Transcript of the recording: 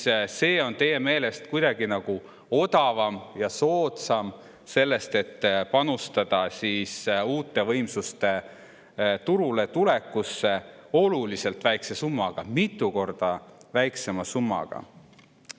Ja see on teie meelest kuidagi nagu odavam ja soodsam sellest, et panustada uute võimsuste turule tulekusse oluliselt väiksema summaga, mitu korda väiksema summaga?